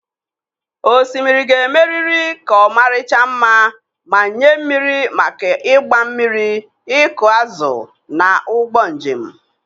Osimiri ga-emerịrị ka ọmarịcha mma ma nye mmiri maka ịgba mmiri, ịkụ azụ, na ụgbọ njem.